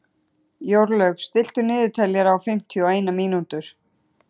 Jórlaug, stilltu niðurteljara á fimmtíu og eina mínútur.